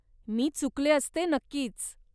मी चुकले असते नक्कीच.